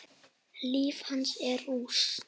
Líf hans er í rúst.